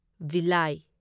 ꯚꯤꯂꯥꯢ